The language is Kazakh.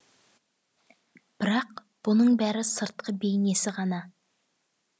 бірақ бұның бәрі сыртқы бейнесі ғана